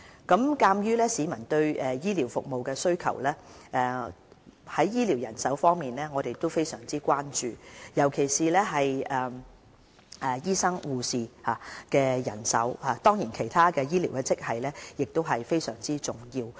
鑒於市民對醫療服務的需求，我們對醫療人手非常關注，尤其醫生和護士的人手，當然其他醫療職系的人手也十分重要。